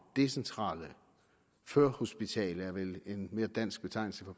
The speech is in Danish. decentrale førhospitale det er vel en mere dansk betegnelse